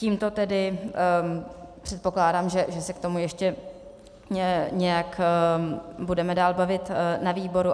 Tímto tedy předpokládám, že se k tomu ještě nějak budeme dál bavit na výboru.